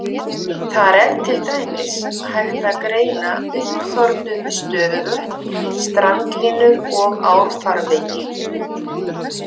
Þar er til dæmis hægt að greina uppþornuð stöðuvötn, strandlínur og árfarvegi.